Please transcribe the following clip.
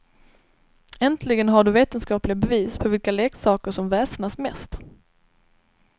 Äntligen har du vetenskapliga bevis på vilka leksaker som väsnas mest.